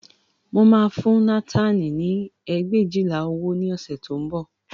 Mo máa fún Nátánì ní ẹgbẹ̀éjìlá owó ní ọ̀sẹ̀ tí ó ń bọ̀